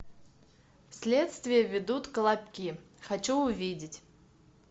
следствие ведут колобки хочу увидеть